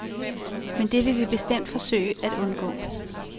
Men det vil vi bestemt forsøge at undgå.